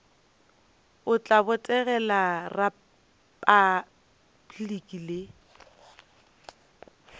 o tla botegela repabliki le